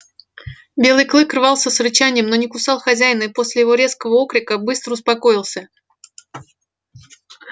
белый клык рвался с рычанием но не кусал хозяина и после его резкого окрика быстро успокоился